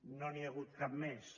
no n’hi ha hagut cap més